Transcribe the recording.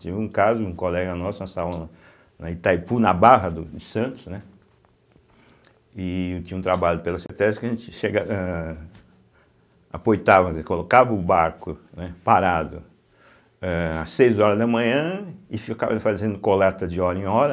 Teve um caso, um colega nosso, nós estávamos na Itaipu, na Barra do de Santos, né, e eu tinha um trabalho, pela cêtésbe, que a gente chega ãh aportava, né, colocava o barco, né, parado ãh às seis horas da manhã e ficava fazendo coleta de hora em hora.